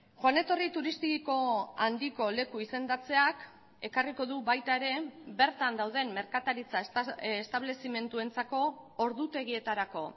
joan etorri turistiko handiko leku izendatzeak ekarriko du baita ere bertan dauden merkataritza establezimenduentzako ordutegietarako